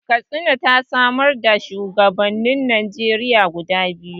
Katsina ta samar da shuwagabannin Najeriya guda biyu.